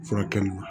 Furakɛli ma